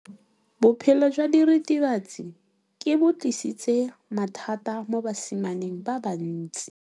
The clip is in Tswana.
Botshelo jwa diritibatsi ke bo tlisitse mathata mo basimaneng ba bantsi.